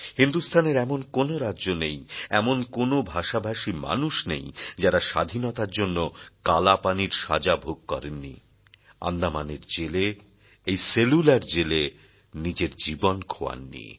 হিন্দুস্থানের এমন কোনো রাজ্য নেই এমন কোনো ভাষাভাষী মানুষ নেই যাঁরা স্বাধীনতার জন্য কালাপানির সাজা ভোগ করেননি আন্দামানের জেলে এই সেলুলার জেলে নিজের জীবন খোয়াননি